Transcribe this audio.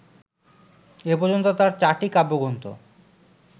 এ পর্যন্ত তার চারটি কাব্যগ্রন্থ